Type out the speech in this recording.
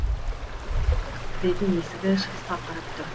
кіретін есігі шығысқа қарап тұр